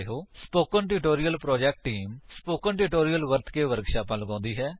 spoken tutorial project team spoken tutorial ਵਰਤ ਕੇ ਵਰਕਸ਼ਾਪਾਂ ਲਗੋਉਂਦੀ ਹੈ